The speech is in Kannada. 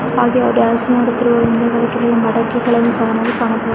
ಹಾಗೆ ಅವ ಡ್ಯಾನ್ಸ್ ಮಾಡುತ್ತಿರುವ ಒಂದು ಮಡಿಕೆಯನ್ನು ಸಹ ಕಾಣಬಹುದು.